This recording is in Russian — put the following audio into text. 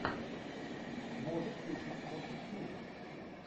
можешь включить фортитьюд